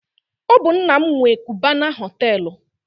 Ọ bụ nna m nwe Kubana họtelụ